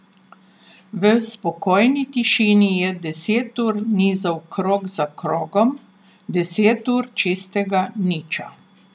V spokojni tišini je deset ur nizal krog za krogom, deset ur čistega niča.